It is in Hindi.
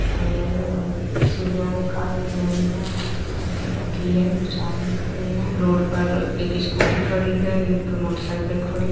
अ अ सीढ़ियां दिखाई दे रही है साईकिल रखी है कुछ आदमी खड़े है रोड पर एक स्कूटी खड़ी है एक मोटर साइकिल खड़ी है ।